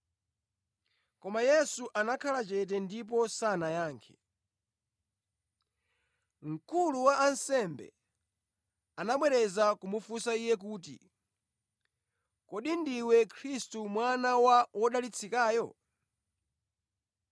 Koma Yesu anakhala chete ndipo sanayankhe. Mkulu wa ansembe anabwereza kumufunsa Iye kuti, “Kodi ndiwe Khristu Mwana wa Wodalitsikayo?”